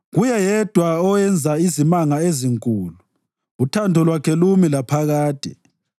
Kuye yedwa owenza izimanga ezinkulu, uthando lwakhe lumi laphakade.